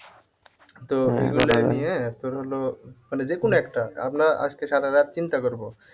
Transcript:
তোর হল মানে যে কোন একটা আমরা আজকে সারা রাত চিন্তা করবো